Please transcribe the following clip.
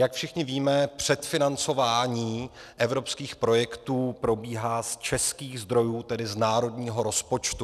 Jak všichni víme, předfinancování evropských projektů probíhá z českých zdrojů, tedy z národního rozpočtu.